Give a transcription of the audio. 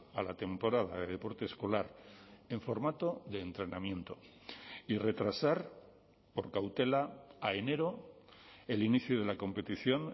a la temporada de deporte escolar en formato de entrenamiento y retrasar por cautela a enero el inicio de la competición